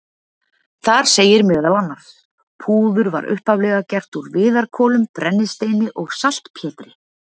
Þar segir meðal annars: Púður var upphaflega gert úr viðarkolum, brennisteini og saltpétri.